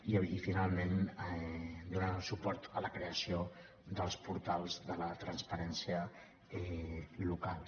i finalment donarem suport a la creació dels portals de la transparència locals